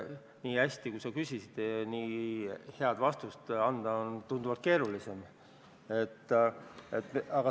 Nii hästi, kui sa küsisid, aga vastata on tunduvalt keerulisem.